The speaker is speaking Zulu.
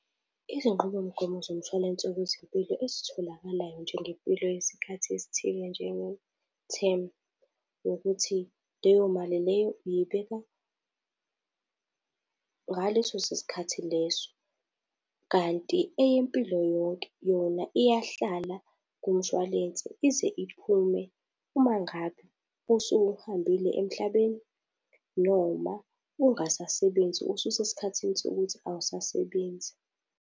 Izinqubomgomo zomshwalense wezempilo ezitholakalayo njengempilo yesikhathi esithile, njengethemu, ukuthi leyo mali leyo uyibeka ngaleso sikhathi leso. Kanti eyempilo yonke, yona iyahlala kumshwalense, ize iphume uma ngabe usuhambile emhlabeni noma ungasasebenzi ususesikhathini sokuthi awusasebenzi.